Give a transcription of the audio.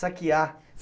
Saquear.